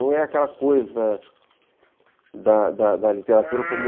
Não é aquela coisa da da literatura como...